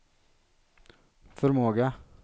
förmåga